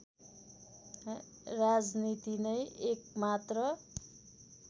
राजनीति नै एकमात्र